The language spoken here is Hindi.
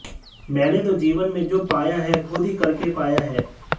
मैंने तो जीवन में जो पाया है खुद ही करके पाया है